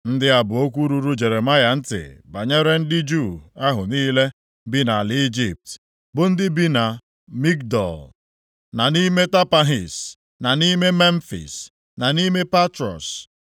Ndị a bụ okwu ruru Jeremaya ntị banyere ndị Juu ahụ niile bi nʼala Ijipt, bụ ndị bi na Migdol, na nʼime Tapanhis, na nʼime Memfis, na nʼime Patros,